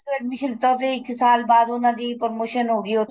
admission ਲੀਤਾ ਤੇ ਇੱਕ ਸਾਲ ਬਾਅਦ ਉਹਨਾ ਦੀ promotion ਹੋ ਗਈ ਉੱਥੇ